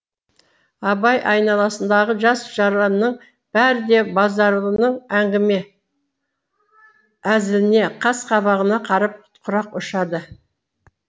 абай айналасындағы жас жаранның бәрі де базаралының әңгіме әзіліне қас қабағына қарап құрақ ұшады